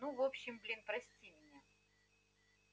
ну в общем блин прости меня